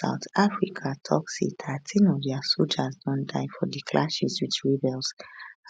south africa tok say thirteen of dia sojas don die for di clashes wit rebels